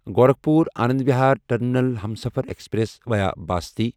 Gorakhpur Anand Vihar terminal Humsafar express via Basti